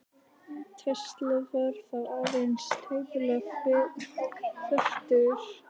Tesla var þá aðeins tæplega fertugur.